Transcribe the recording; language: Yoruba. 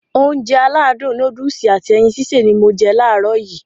Ounjẹ aládùn nóódùsì at ẹyin sísè ni mo je làárọ̀ yii